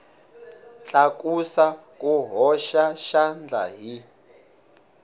tlakusa ku hoxa xandla hi